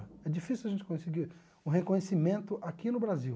É difícil a gente conseguir o reconhecimento aqui no Brasil.